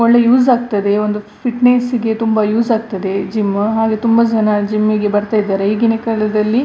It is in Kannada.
ಒಳ್ಳೆ ಯೂಸ್ ಆಗ್ತದೆ ಒಂದು ಫಿಟ್ನೆಸ್ ಗೆ ತುಂಬಾ ಯೂಸ್ ಆಗ್ತದೆ ಜಿಮ್ ಹಾಗೆ ತುಂಬಾ ಜನ ಜಿಮ್ ಗೆ ಬರ್ತಾ ಇರ್ತಾರೆ ಈಗಿನ ಕಾಲದಲ್ಲಿ.